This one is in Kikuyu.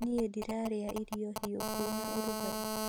Niĩ ndirarĩa irio hiũ kwĩna ũrugarĩ